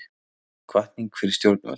Hvatning fyrir stjórnvöld